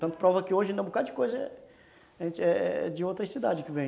Tanto prova que hoje ainda um bocado de coisa é é de outras cidades que vem.